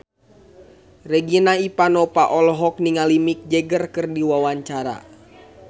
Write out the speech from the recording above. Regina Ivanova olohok ningali Mick Jagger keur diwawancara